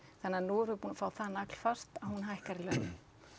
þannig að nú erum við búin að fá það naglfast að hún hækkar í launum